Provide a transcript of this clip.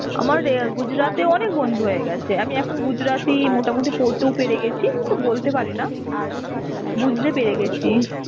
আমার এ Gujarat এ অনেক বন্ধু হয়ে গেছে. আমি এখন gujrati মোটামুটি পড়তেও পেরে গেছি. কিন্তু বলতে পারিনা. বুঝতে পেরে গেছি.